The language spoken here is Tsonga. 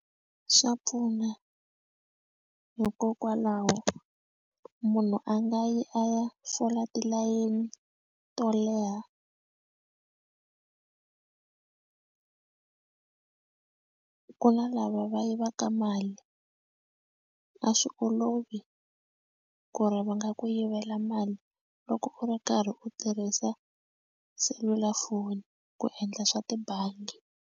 Swa pfuna hikokwalaho munhu a nga yi a ya fola tilayini to leha ku na lava va yivaka mali a swi olovi ku ri va nga ku yivela mali loko u ri karhi u tirhisa selulafoni ku endla swa tibangi.